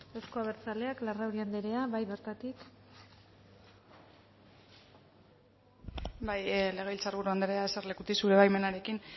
euzko abertzaleak larrauri anderea bai bertatik bai legebiltzar buru andrea eserlekutik zure baimenarekin